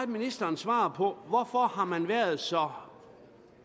ministeren svarede på mit hvorfor har man været så